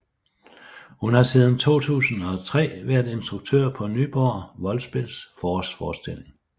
Hun har siden 2003 været instruktør på Nyborg Voldspils forårsforestilling